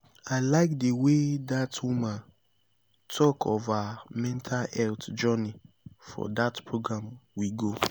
i like the way dat woman talk of her mental health journey for dat program we go